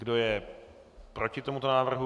Kdo je proti tomuto návrhu?